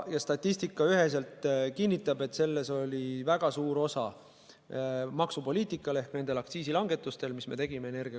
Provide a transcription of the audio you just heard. Ja statistika kinnitab üheselt, et selles oli väga suur osa maksupoliitikal ehk nendel energiakandjate aktsiisi langetustel, mis me tegime.